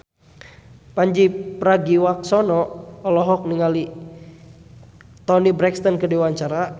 Pandji Pragiwaksono olohok ningali Toni Brexton keur diwawancara